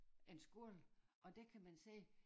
En skole og der kan man sige